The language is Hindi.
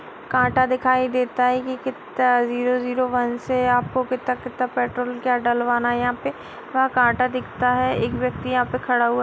कांटा दिखाई देता है की कितना जीरो जीरो वन से आपको कितना-कितना पेट्रोल का डलवाना है यहाँ पे यहाँ कांटा दिखता है एक व्यक्ति यहाँ पे खड़ा हुआ --